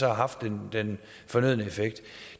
har haft den fornødne effekt